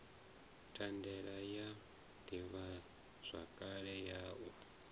thandela ya ḓivhazwakale ya u